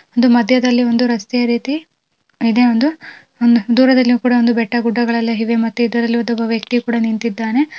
ಒಂದು ಮಧ್ಯದಲ್ಲಿ ಒಂದು ರಸ್ತೆಯ ರೀತಿ ಇದೆ ಒಂದು ದೂರದಲ್ಲಿ ಕೂಡ ಬೆಟ್ಟಗುಡ್ಡಗಳು ಎಲ್ಲ ಇವೆ ಮತ್ತೆ ಇಲ್ಲಿ ಒಬ್ಬ ವ್ಯಕ್ತಿ ನಿಂತಿದ್ದಾನೆ.